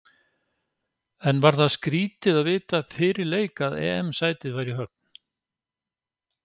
En var það skrítið að vita fyrir leik að EM sætið væri í höfn?